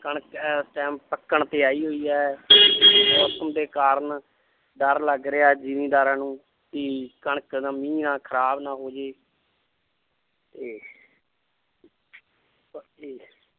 ਕਣਕ ਇਸ time ਪੱਕਣ ਤੇ ਆਈ ਹੋਈ ਹੈ ਮੌਸਮ ਦੇ ਕਾਰਨ ਡਰ ਲੱਗ ਰਿਹਾ ਜ਼ਿੰਮੀਦਾਰਾਂ ਨੂੰ ਕਿ ਕਣਕ ਮੀਂਹ ਨਾਲ ਖ਼ਰਾਬ ਨਾ ਹੋ ਜਾਏ ਤੇ